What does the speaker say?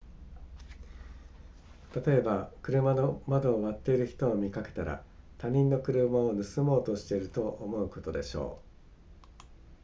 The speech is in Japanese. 例えば車の窓を割っている人を見かけたら他人の車を盗もうとしていると思うことでしょう